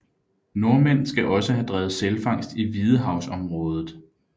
Nordmænd skal også have drevet sælfangst i hvidehavsområdet